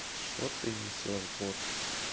что ты несёшь год